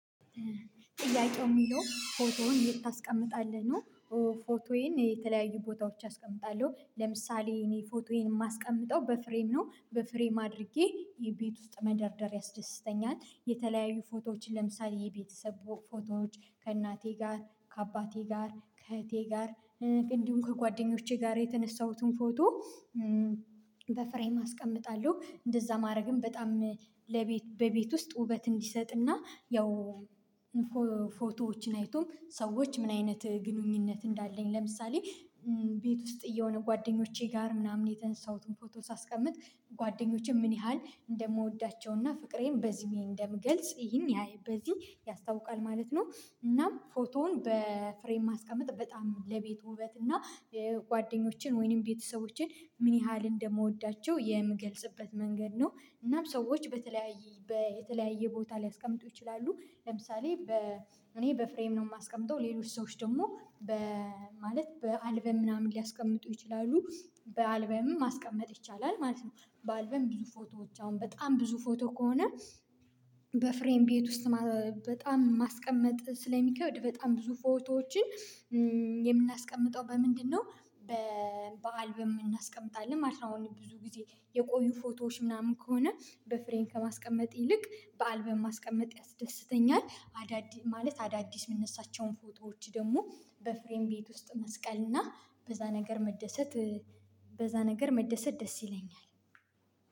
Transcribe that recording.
ጥያቄው የሚለው ፎቶህን ታስቀምጣለህ ነው? ፎቶዬን የተለያዩ ቦታዎች አስቀምጣለሁ ለምሳሌ እኔ ፎቶዬን የማስቀምጠው በፍሬም ነው በፍሬም አድርጌ ቤት ውስጥ መደርደር ያስደስተኛል የተለያዩ ፎቶዎች ለምሳሌ የቤተሰብ ፎቶዎች ከእናቴ ጋር ከአባቴ ጋር ከእህቴ ጋር እንዲሁም ከጓደኞቼ ጋር የተነሳሁትን ፎቶ በፍሬም አስቀምጣለሁ እንደዛ ማድረግም በጣም ለቤት በቤት ውስጥ ውበት እንዲሰጥና ያው አይቶም ሰዎች ምን አይነት ግንኙነት እንዳለኝ ለምሳሌ ቤት ውስጥ የሆነ ጓደኞቼ ጋር ምናምን የተነሳሁትን ፎቶ ሳስቀምጥ ጓደኞቼ ምን ያህል እንደምወዳቸውና ፍቅሬን በዚህ እንደምገልጽ ይሄን ያየ በዚህ ያስታውቃል ማለት ነው። እናም ፎቶውን በፍሬም ማስቀመጥ በጣም ለቤቱ ውበት እና ጓደኞችን ወይንም ቤተሰቦችን ምን ያህል እንደምወዳቸው የምገልጽበት መንገድ ነው። እናም ሰዎች በተለያየ የተለያየ ቦታ ሊያስቀምጡ ይችላሉ ለምሳሌ በ እኔ በፍሬም ነው የማስቀምጠው ሌሎች ሰዎች ደግሞ በ ማለት በአልበም ምናምን ሊያስቀምጡ ይችላሉ በአልበምም ማስቀመጥ ይቻላል ማለት ነው። በአልበም ብዙ ፎቶዎች አሁን በጣም ብዙ ፎቶ ከሆነ በፍሬን ቤት ውስጥ በጣም ማስቀመጥ ስለሚከወድ በጣም ብዙ ፎቶዎችን በምንድነው? በበአልበም እናስቀምጣለን ማለት ነው። አሁን ብዙ ጊዜ የቆዩ ፎቶዎች ምናምን ከሆነ በፍሬን ከማስቀመጥ ይልቅ በአልበም ማስቀመጥ ያስደስተኛል። አዳዲስ ማለት አዳዲስ የምንነሳቸውን ፎቶዎች ደግሞ በፍሬም ቤት ውስጥ መስቀል እና በዛ ነገር መደሰት በዛ ነገር መደሰት ደስ ይለኛል።